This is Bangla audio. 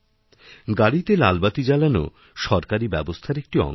গাড়িতেলালবাতি জ্বালানো সরকারি ব্যবস্থার একটি অঙ্গ